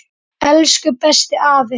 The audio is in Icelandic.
Elsku besti afi.